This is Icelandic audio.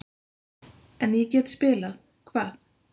En ég get spilað-Hvað?